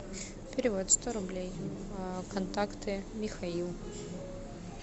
перевод сто рублей контакты михаил